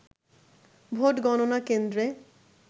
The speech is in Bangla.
ভোট গণনা কেন্দ্রে